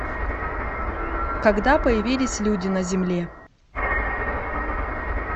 когда появились люди на земле